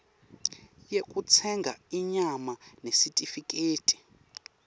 yekutsenga inyama nesitifiketi